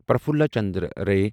Prafulla Chandra Ray